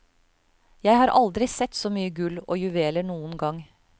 Jeg har aldri sett så mye gull og juveler noen gang.